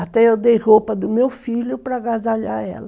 Até eu dei roupa do meu filho para agasalhar ela.